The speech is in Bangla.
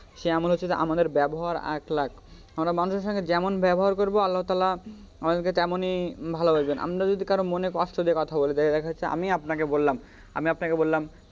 সে আমল হচ্ছে যে আমাদের ব্যাবহার আর luck আমরা মানুষের সাথে যেমন ব্যবহার করব আল্লাহ তালহা আমাদেরকে তেমনি ভালবাসবেন আমি যদি কারোর মনে কষ্ট দিয়ে কথা বলি দেখ যেমন হচ্ছে আমি আপানাকে বললাম আমি আপানাকে বললাম,